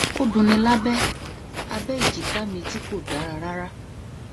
ó dunni lábẹ abẹ èjìká mi tí kò dára rárá